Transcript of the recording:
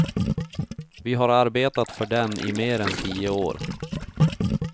Vi har arbetat för den i mer än tio år.